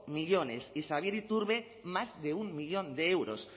millónes y xabier iturbe más de un millón de euros